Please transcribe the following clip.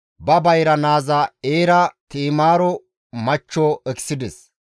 Yuhuday ba bayra naaza Eera Ti7imaaro machcho ekisides.